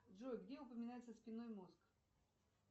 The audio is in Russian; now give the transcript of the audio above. джой где упоминается спинной мозг